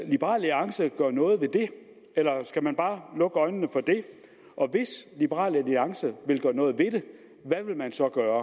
liberal alliance gøre noget ved det eller skal man bare lukke øjnene for det og hvis liberal alliance vil gøre noget ved det hvad vil man så gøre